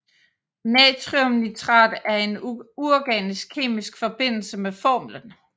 Natriumnitrat er en uorganisk kemisk forbindelse med formlen